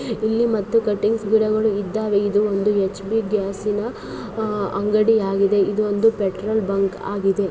ಇಲ್ಲಿ ಮತ್ತು ಕಟ್ಟಿಂಗ್ಸ್ ಗಿಡಗಳು ಇದ್ದಾವೆ ಇದು ಒಂದು ಹೆಚ್.ಪಿ. ಗ್ಯಾಸ್ ಸಿನ ಅಹ್ ಅಂಗಡಿ ಆಗಿದೆ. ಇದು ಒಂದು ಪೆಟ್ರೋಲ್ ಬಂಕ್ ಆಗಿದೆ.